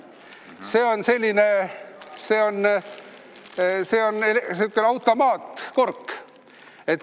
See on selline automaatkork.